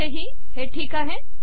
इथेही ठीक आहे